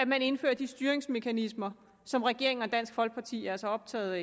man indfører de styringsmekanismer som regeringen og dansk folkeparti er så optaget af